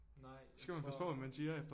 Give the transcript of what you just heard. Nej jeg tror